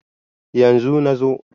yanzu. na zo